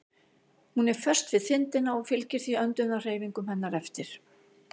Hún er föst við þindina og fylgir því öndunarhreyfingum hennar eftir.